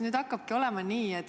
Mul on küsimus.